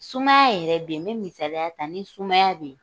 Sumaya yɛrɛ bɛ yen , me misaliya ta. Ni sumaya bɛ yen,